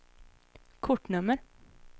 kortnummer